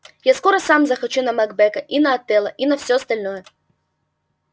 я скоро сам захочу на макбета и на отелло и на все остальное